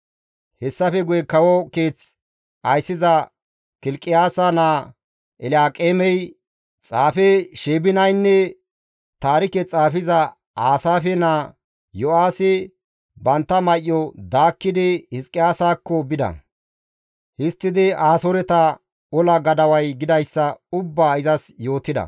Hessafe guye kawo keeth ayssiza Kilqiyaasa naa Elyaaqeemey, xaafe Sheebinaynne taarike xaafezi Aasaafe naa Yo7aahi bantta may7o daakkidi Hizqiyaasakko bida; histtidi Asooreta ola gadaway gidayssa ubbaa izas yootida.